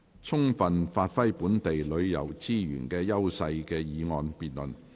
"充分發揮本地旅遊資源的優勢"的議案辯論。